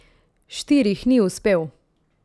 Štirih ni uspel.